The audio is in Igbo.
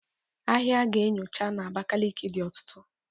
Ahịa a ga-enyocha na Abakaliki dị ọtụtụ.